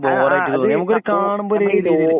ആഹ് അത്